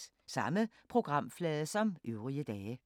Samme programflade som øvrige dage